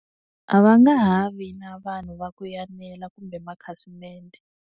A va nga ha vi na vanhu va ku enela kumbe makhasimende.